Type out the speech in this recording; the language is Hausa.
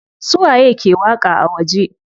Su waye ke waƙa a waje?